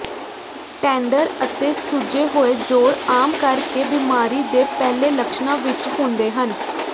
tender ਅਤੇ ਸੁੱਜੇ ਹੋਏ ਜੋੜ ਆਮ ਕਰਕੇ ਬਿਮਾਰੀ ਦੇ ਪਹਿਲੇ ਲੱਛਣਾਂ ਵਿਚ ਹੁੰਦੇ ਹਨ